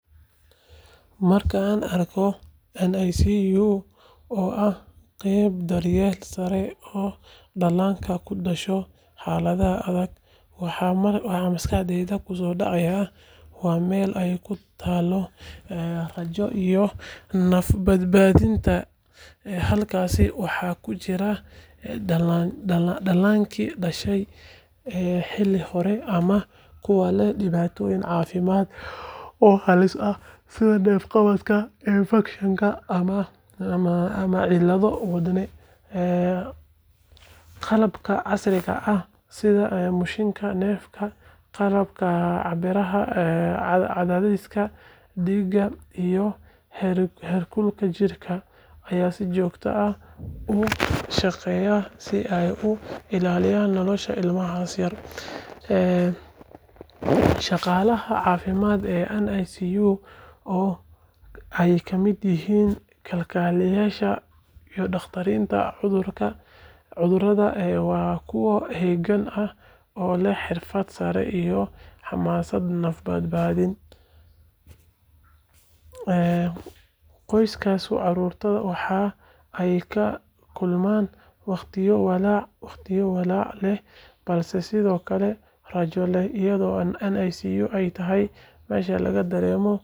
Marka aan arko NICU, oo ah qeybta daryeelka sare ee dhallaanka ku dhasha xaaladaha adag, waxa maskaxdayda kusoo dhacaya waa meel ay ku taallo rajada iyo naf-badbaadinta. Halkaas waxaa ku jira dhallaankii dhashay xilli hore ama kuwa leh dhibaatooyin caafimaad oo halis ah sida neef-qabad, infakshan, ama cillado wadne. Qalabka casriga ah sida mashiinnada neefta, qalabka cabbira cadaadiska dhiigga iyo heerkulka jidhka ayaa si joogto ah u shaqeeya si ay u ilaaliyaan nolosha ilmahaas yar. Shaqaalaha caafimaadka ee NICU, oo ay ka mid yihiin kalkaaliyeyaasha iyo dhakhaatiirta caruurta, waa kuwo heegan ah oo leh xirfad sare iyo xamaasad naf-badbaadin. Qoysaska carruurtaasna waxa ay la kulmaan waqtiyo walaac leh balse sidoo kale rajo leh, iyadoo NICU ay tahay meesha laga dareemo.